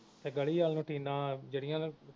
ਤੇ ਗਲੀ ਵੱਲ ਨੂੰ ਟੀਨਾਂ ਜਿਹੜੀਆਂ ਨਾ